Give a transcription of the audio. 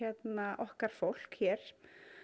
okkar fólk hér